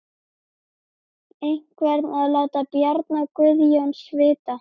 Einhver að láta Bjarna Guðjóns vita?